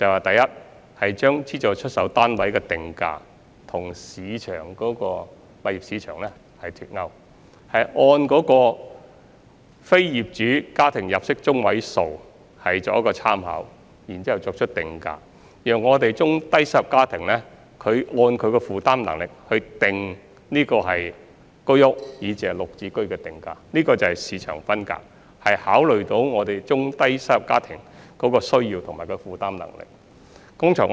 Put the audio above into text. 第一，我們把資助出售單位的定價與私人物業市場脫鈎，參考非業主家庭入息中位數作出定價，按中低收入家庭的負擔能力來定出居屋，以至"綠置居"的單位價格，這就是市場分隔，我們已考慮到中低收入家庭的需要和負擔能力。